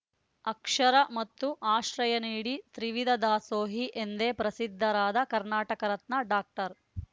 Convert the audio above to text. ಅಕ್ಷರ ಮತ್ತು ಆಶ್ರಯ ನೀಡಿ ತ್ರಿವಿದ ದಾಸೋಹಿ ಎಂದೇ ಪ್ರಸಿದ್ಧರಾದ ಕರ್ನಾಟಕ ರತ್ನ ಡಾಕ್ಟರ್